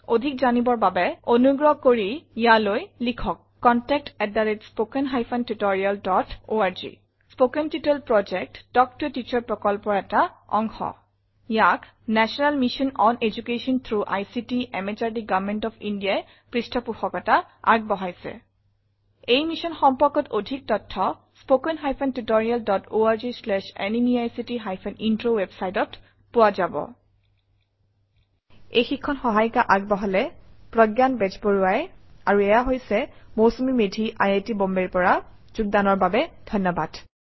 অধিক জনাৰ বাবে অনুগ্ৰহ কৰি ইয়াৈল িলখক contactspoken tutorialorg কথন শিক্ষণ প্ৰকল্প তাল্ক ত a টিচাৰ প্ৰকল্পৰ এটা অংগ ইয়াক national mission on education through ICT MHRD government of India ই পৃষ্ঠপোষকতা আগবঢ়াইছে এই মিশ্যন সম্পৰ্কত অধিক তথ্য spoken hyphen tutorial dot org slash এনএমইআইচিত হাইফেন ইন্ট্ৰ ৱেবচাইটত পোৱা যাব এই প্ৰশিক্ষণ প্ৰজ্ঞান বেজবৰুৱা দ্ৱ্ৰৰা যুগ্দান কৰা হইচে মই মৌচুমি মেধি চাইন অফ কৰিচু সহযোগ কৰাৰ কাৰনে ধন্য়বাদ নমস্কাৰ